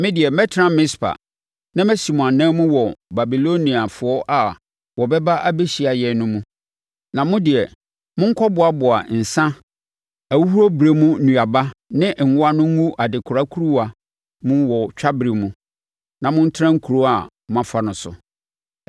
Me deɛ, mɛtena Mispa, na masi mo anan mu wɔ Babiloniafoɔ a wɔbɛba abɛhyia yɛn no mu, na mo deɛ, monkɔ boaboa nsã, ahuhuro berɛ mu nnuaba ne ngo ano ngu adekora nkuruwa mu wɔ twaberɛ mu, na montenatena nkuro a moafa no so.”